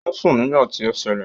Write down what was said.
Ò ń sùn nígbà tí ó ṣẹlẹ̀